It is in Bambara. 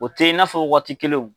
O tɛ i n'a fɔ waati kelen o.